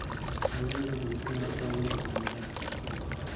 Mage magin ranyisi mag Kallman syndrome auchiel